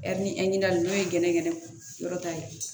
n'o ye gɛnɛgɛnɛ yɔrɔ ta ye